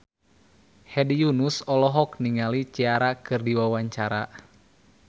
Hedi Yunus olohok ningali Ciara keur diwawancara